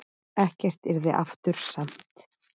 Ekkert yrði aftur samt.